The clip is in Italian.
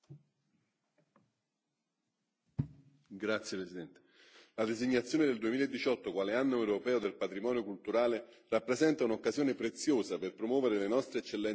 La designazione del 2018 quale Anno europeo del patrimonio culturale rappresenta un'occasione preziosa per promuovere le nostre eccellenze culturali come risorsa condivisa, frutto di una storia secolare.